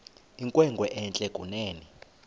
inkwenkwe entle kunene